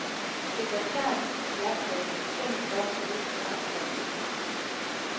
Sekretæren slap med en betinget dom uden straffastsættelse.